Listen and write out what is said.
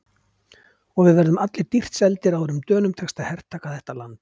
Og við verðum allir dýrt seldir áður en Dönum tekst að hertaka þetta land.